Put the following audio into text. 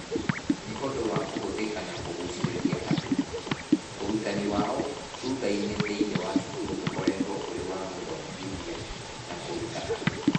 Nĩ ũndũ wa kũhũthĩka na kũgucĩrĩria andũ, ũrutani wao wa thutha-inĩ thĩinĩ wa cukuru ũkoretwo ũrĩ wa gũthomithia na kũruta andũ.